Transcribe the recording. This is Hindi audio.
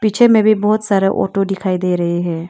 पीछे में भी बहुत सारे ऑटो दिखाई दे रहे हैं।